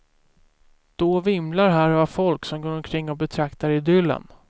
Då vimlar här av folk som går omkring och betraktar idyllen.